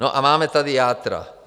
No a máme tady játra.